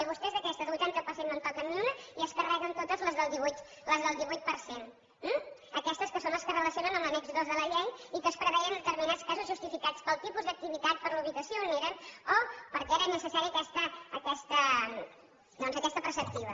i vostès d’aquestes del vuitanta per cent no en toquen ni una i es carreguen totes les del divuit per cent eh aquestes que són les que es relacio nen en l’annex dos de la llei i que es preveien determinats casos justificats pel tipus d’activitat per la ubicació on eren o perquè era necessària aquesta preceptiva